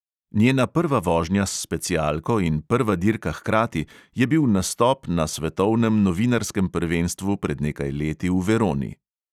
Njena prva vožnja s specialko in prva dirka hkrati je bil nastop na svetovnem novinarskem prvenstvu pred nekaj leti v veroni.